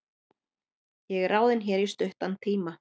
Ég er ráðinn hér í stuttan tíma.